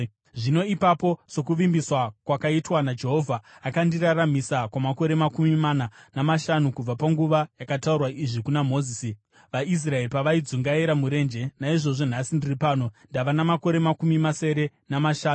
“Zvino ipapo, sokuvimbiswa kwakaitwa naJehovha, akandiraramisa kwamakore makumi mana namashanu, kubva panguva yaakataura izvi kuna Mozisi, vaIsraeri pavaidzungaira murenje. Naizvozvo nhasi ndiri pano, ndava namakore makumi masere namashanu!